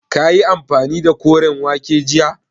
Kayi amfani da koren wake jiya?